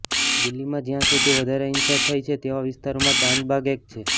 દિલ્હીમાં જ્યાં સૌથી વધારે હિંસા થઈ છે તેવા વિસ્તારોમાં ચાંદબાગ એક છે